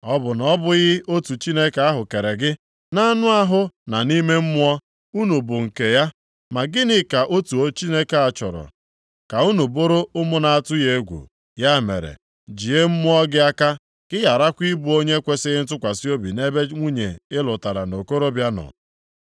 Ọ bụ na ọ bụghị otu Chineke ahụ kere gị? Nʼanụ ahụ na nʼime mmụọ, unu bụ nke ya. Ma gịnị ka otu Chineke a chọrọ? Ka unu bụrụ ụmụ na-atụ ya egwu. Ya mere, jie mmụọ gị aka, ka ị gharakwa ịbụ onye na-ekwesighị ntụkwasị obi nʼebe nwunye ị lụtara nʼokorobịa nọ.